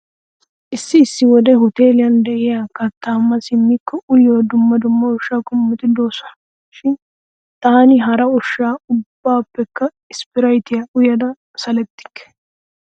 Issi issi wode huteeliyan de'ya kattaa ma simmikko uyiyo dumma dumma ushsha qommoti de'oosona. Shin taani hara ushsa ubbaappekka isppiraytiya uyada salettikke.